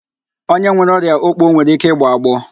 Onye nwere ọrịa òkpò nwere ike ịgbọ agbọọ